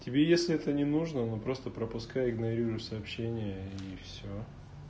тебе если это не нужно ну просто пропускай игнорируй сообщение и всё